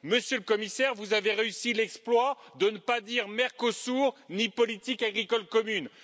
Monsieur le Commissaire, vous avez réussi l'exploit de ne pas dire Mercosur ni politique agricole commune.